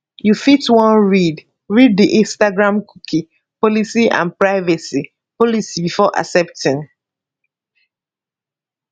you fit wan read read di instagramcookie policyandprivacy policybefore accepting